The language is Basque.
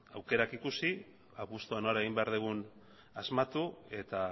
aukerak ikusi apustua nora egin behar dugun asmatu eta